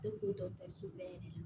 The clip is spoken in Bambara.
Tɛ ko dɔgɔtɔrɔso bɛɛ yɛrɛ de la